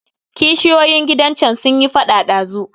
Kishiyoyin gidan can sunyi faɗa ɗazu.